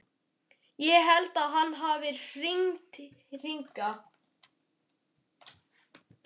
Ég held að hann hafi hringt hingað.